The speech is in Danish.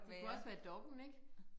Det kunne også være Dokk1 ik